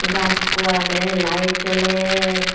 gaz ekko agey lite joler.